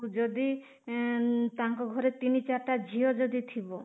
ଯଦି ଏଁ ତାଙ୍କ ଘରେ ତିନି ଚାରି ଟା ଝିଅ ଯଦି ଥିବ